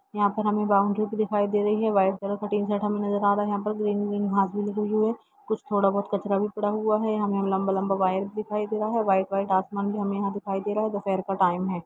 यहाँ पर हमे बाउंड्री भी दिखाई दे रही है व्हाइट कलर का टीन शैड हमे नजर आ रहा हैं यहाँ पर ग्रीन ग्रीन घास भी लगी हुई हैं कुछ थोड़ा बहुत कचरा भी पड़ा हुआ है यहाँ हमे लंबा-लंबा वायर भी दिखाई दे रहा है व्हाइट व्हाइट आसमान भी हमे यहाँ दिखाई दे रहा है दोपहर का टाइम है।